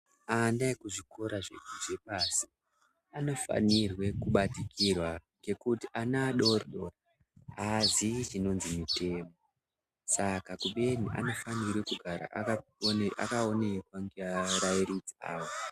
Ana ekuzvikora zvepasi anofanirwa kubatikirwa kuti ana adoridori aziyi chinonzi mutemo saka kubeni anofanira kugara akaonekwa ngearairidzi awo.